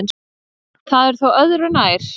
Það er þó öðru nær.